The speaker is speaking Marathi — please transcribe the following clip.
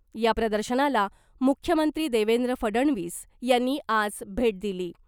या प्रदर्शनाला मुख्यमंत्री देवेंद्र फडणवीस यांनी आज भेट दिली .